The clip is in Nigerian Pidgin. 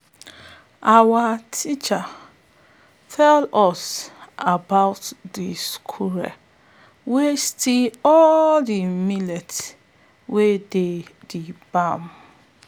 our teacher tell us about de squirrel wey steal all de millet wey dey de barn